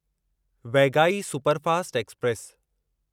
Vaigai superfast express